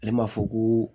Ale ma fɔ ko